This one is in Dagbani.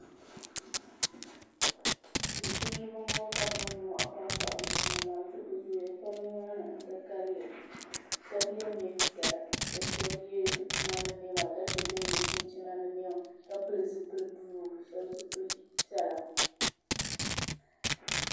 Tum tumdiba n bɔŋo ka bi niŋ nin mɔhi pam bahi bi tuma zuɣu bi zooya pam ni maa ni n ka kalinli shɛba yɛ niɛn piɛla ka shɛba yɛ bi tuma ni niɛma ka che ban yɛ chinchina ni niɛma ka pili zipili buluu shɛba zipili piɛla.